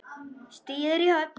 Stigið er í höfn!